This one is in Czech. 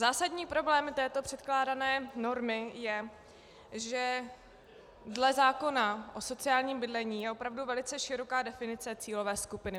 Zásadní problém této předkládané normy je, že dle zákona o sociálním bydlení je opravdu velice široká definice cílové skupiny.